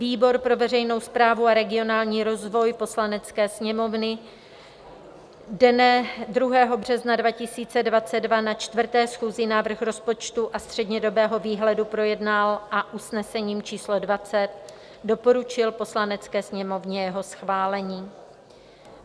Výbor pro veřejnou správu a regionální rozvoj Poslanecké sněmovny dne 2. března 2022 na 4. schůzi návrh rozpočtu a střednědobého výhledu projednal a usnesením číslo 20 doporučil Poslanecké sněmovně jeho schválení.